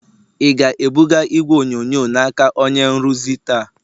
ị ga-ebuga igwe onyonyo n'aka onye nrụzi taa?